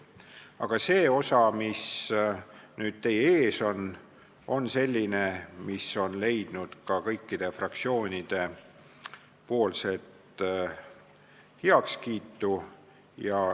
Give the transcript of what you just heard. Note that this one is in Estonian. Aga see osa, mis nüüd teie ees on, on selline, mis on leidnud kõikide fraktsioonide heakskiidu.